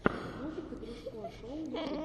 музыка дружко шоу ютуб